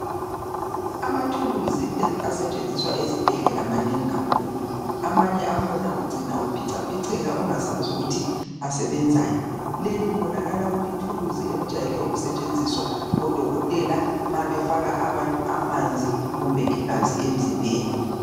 Amathuluzi asetshenziswa ezibhedlela manengi kakhulu amanye akhona ucina uphicaphiceka ungasazi ukuthi asebenzani leli libonakala kulithuluzi elijayele ukusetshenziswa ngodokotela nxa befaka abantu amanzi kumbe igazi emzimbeni.